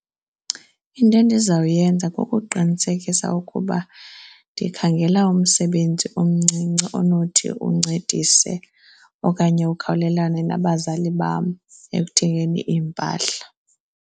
Into endizawuyenza kukuqinisekisa ukuba ndikhangela umsebenzi omncinci onothi uncedise okanye ukhawulelane nabazali bam ekuthengeni iimpahla.